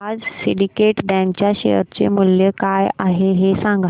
आज Syndicate Bank च्या share चे मूल्य काय आहे हे सांगा